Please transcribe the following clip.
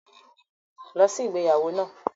Lọ sí igbeyawo naa!